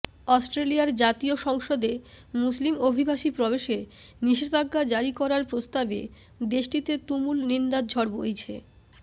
অস্ট্রেলিয়ার জাতীয় সংসদে মুসলিম অভিবাসী প্রবেশে নিষেধাজ্ঞা জারি করার প্রস্তাবে দেশটিতে তুমুল নিন্দার ঝড় বইছে